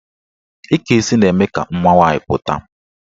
Ike isi na-eme ka mma nwaanyị pụta.